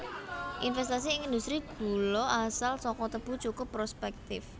Investasi ing industri gula asal saka tebu cukup prospèktif